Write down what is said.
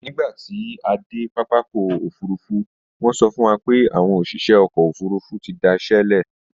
Nígbà tí a dé pápákọ̀ òfurufú, wọ́n sọ fún wa pé àwọn òṣìṣẹ́ ọkọ̀ òfurufú ti da iṣẹ sílẹ̀